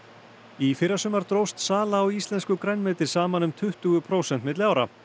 í fyrrasumar dróst sala á íslensku grænmeti saman um tuttugu prósent milli ára